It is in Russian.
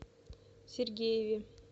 сергееве